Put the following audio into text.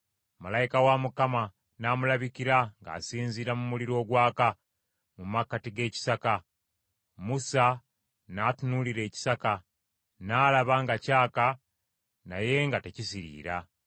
Malayika wa Mukama n’amulabikira ng’asinziira mu muliro ogwaka, mu makkati g’ekisaka. Musa n’atunuulira ekisaka, n’alaba nga kyaka naye nga tekisiriira.